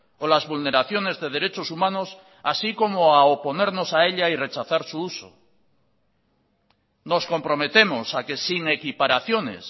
o las vulneraciones de derechos humanos así como a oponernos a ella y rechazar su uso nos comprometemos a que sin equiparaciones